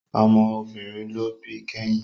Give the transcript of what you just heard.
Ọmọ obìnrin ló bí kẹ́yìn